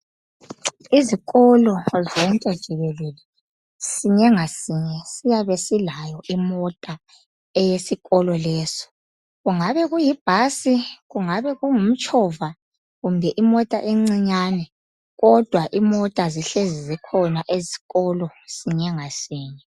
Izikolo zonke jikelele sinye ngasinye siyabe silayo imota eyesikolo leso, kungabe kuyibhasi kungabe kungumtshova kumbe imota encinyane kodwa imota zihlezi zikhona esikolo sinye ngasinye